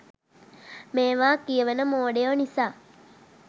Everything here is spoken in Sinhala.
මේවා කියවන මෝඩයෝ නිසා